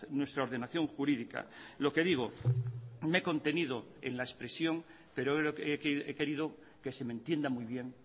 nuestra ordenación jurídica lo que digo me he contenido en la expresión pero he querido que se me entienda muy bien